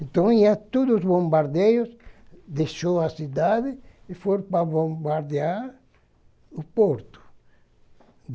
Então, ia todos os bombardeios deixaram a cidade e foram para bombardear o porto.